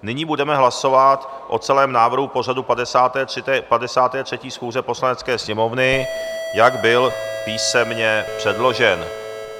Nyní budeme hlasovat o celém návrhu pořadu 53. schůze Poslanecké sněmovny, jak byl písemně předložen.